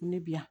Ne bi yan